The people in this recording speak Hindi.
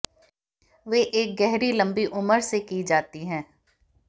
वे एक गहरी लंबी उम्र से की जाती है